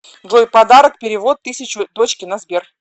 джой подарок перевод тысячу дочке на сбер